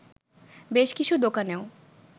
বেশ কিছু দোকানেও